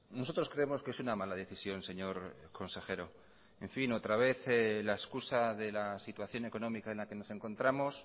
nosotros creemos que es una mala decisión señor consejero en fin otra vez la excusa de la situación económica en la que nos encontramos